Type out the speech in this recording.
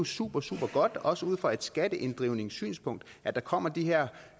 supersupergodt også ud fra et skatteinddrivningssynspunkt at der kommer de her